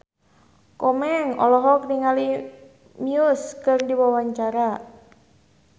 Komeng olohok ningali Muse keur diwawancara